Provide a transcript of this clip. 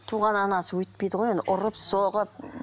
туған анасы өйтпейді ғой енді ұрып соғып